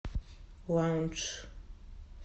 лаундж